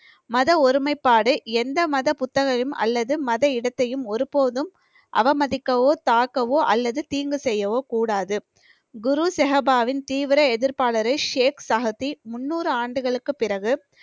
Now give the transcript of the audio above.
மத ஒருமைப்பாடு எந்த மத புத்தகமும் அல்லது மத இடத்தையும் ஒரு போதும் அவமதிக்கவோ தாக்கவோ அல்லது தீங்கு செய்யவோ கூடாது குரு ஸெஹபாவின் தீவிர எதிர்ப்பாளரை ஷேக் சகதி முந்நூறு ஆண்டுகளுக்குப் பிறகு